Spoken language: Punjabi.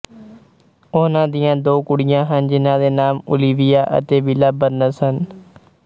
ਉਹਨਾਂ ਦੀਆਂ ਦੋ ਕੁੜੀਆਂ ਹਨ ਜਿਹਨਾਂ ਦੇ ਨਾਮ ਓਲੀਵੀਆ ਅਤੇ ਵਿਲਾ ਬਰਨਸ ਹਨ